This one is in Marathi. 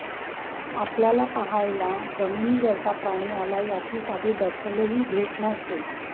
आपल्याला पाहायला जमिनीवरचा प्राणी आलाय याची साधी दखलही घेत नव्हते